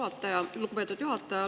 Aitäh, lugupeetud juhataja!